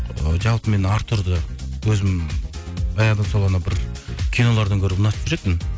ы жалпы мен артурды өзім баяғыдан сол анау бір кинолардан көріп ұнатып жүретінмін